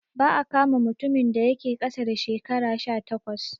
Ba'a kama mutumin da yake ƙasa da shekara sha takwas